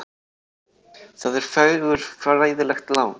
Það er fagurfræðilegt lán.